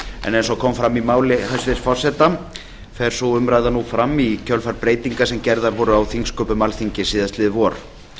en eins og kom fram í máli hæstvirts forseta fer sú umræða nú fram í kjölfar breytinga sem gerðar voru á þingsköpum alþingis síðastliðið vor